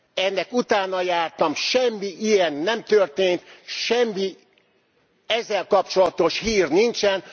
Ennek utánajártam, semmi ilyen nem történt. Semmi ezzel kapcsolatos hír nincsen.